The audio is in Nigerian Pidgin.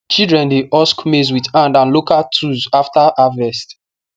children dey husk maize with hand and local tools after harvest